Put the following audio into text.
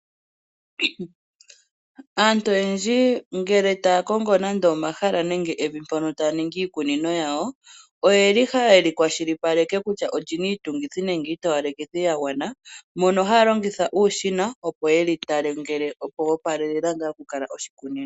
Aantu oyendji ngele taya kongo omahala nenge evi mpono taya ningi iikunino yawo, oyeli ha yeli kwashilipaleke kutya olyina iitungithi nenge iitowalekithi ya gwana, mono haya longitha uushina opo yeli tale, ngele opo opala ngaa oku kala oshikunino.